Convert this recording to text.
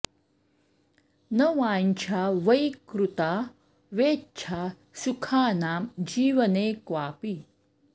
न वाञ्छा वै कृता वेच्छा सुखानां जीवने क्वापि